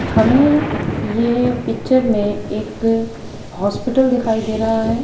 हमें यह पिक्चर में एक हॉस्पिटल दिखाई दे रहा है।